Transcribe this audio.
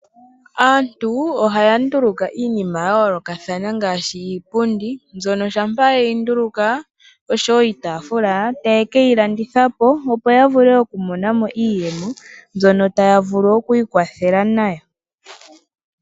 Aantu ohaya nduluka iinima yayolokathana ngaashi iipundi mbyono shampa yeyi nduluka noshowo iitafula taye ke ilanditha po opo ya vule yamone iiyemo ndjono taya vulu oku ikwathela nayo.